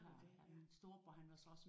Har du det?